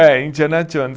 É, Indiana Jones.